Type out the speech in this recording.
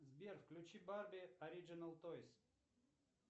сбер включи барби ориджинал тойс